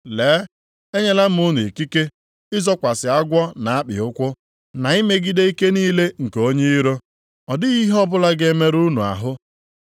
Lee! Enyela m unu ikike ịzọkwasị agwọ na akpị ụkwụ, na imegide ike niile nke onye iro; ọ dịghị ihe ọbụla ga-emerụ unu ahụ.